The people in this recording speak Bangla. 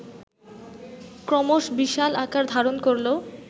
ক্রমশ বিশাল আকার ধারণ করল